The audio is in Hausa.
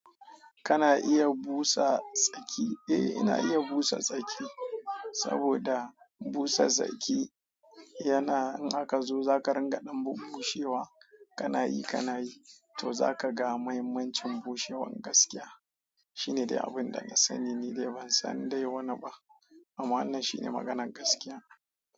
Kana iya busa tsaki? Eh ina iya busa tsaki, saboda busa tsaki yana in aka zo za ka ringaɗan bunbushewa kanayi kanayi to zaka ga muhimmancin bushewan gaskiya. Shine dai abunda na sani nidai ban san dai wani ba. Amma wannan shine maganar gaskiya.